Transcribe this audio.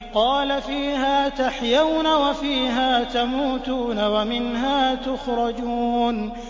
قَالَ فِيهَا تَحْيَوْنَ وَفِيهَا تَمُوتُونَ وَمِنْهَا تُخْرَجُونَ